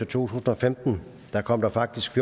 tusind og femten kom der faktisk